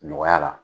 Nɔgɔya la